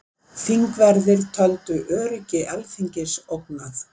Þingverðir töldu öryggi Alþingis ógnað